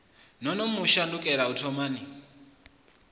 no mu shandukela u thomani